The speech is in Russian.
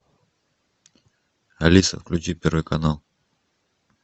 алиса включи первый канал